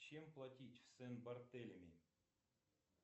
чем платить в сен бартелеми